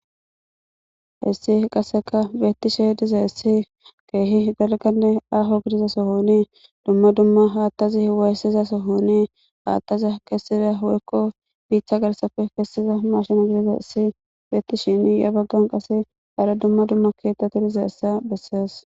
hissi qasseka beettishe diza essi keehi galganne aaho gidiza sohoni dumma dumma haattazi hiwaayssiza sohoni haattazi kessiza hoyekko biichcha garsafe kessiza mashina gidideessi beetishini ya baggan qase hara dumma dumma keettati diza essa bessees